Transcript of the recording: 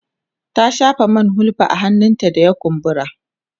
ta shafa man hulba a hannun da ya kumbura